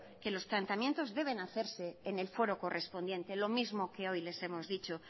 que los planteamientos deben hacerse en el foro correspondiente lo mismo que hoy les hemos dicho